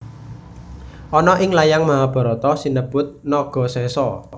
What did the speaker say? Ana ing layang Mahabharata sinebut Nagasesa